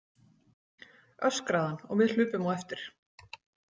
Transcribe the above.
öskraði hann og við hlupum á eftir.